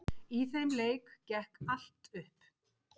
Í þeim leik gekk allt upp.